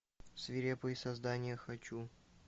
свирепые создания хочу